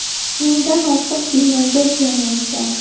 Mingdan ortiq binoga ziyon yetgan.